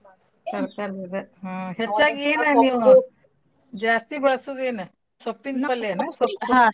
ತರ್ಕಾರೀದ್ ಇದ ಹಾ ಹೆಚ್ಚಾಗ್ ಏನ್ ಜಾಸ್ತಿ ಬಳ್ಸುದ್ ಎನ್? ಸೊಪ್ಪಿನ್ ಪಲ್ಯಾನು? .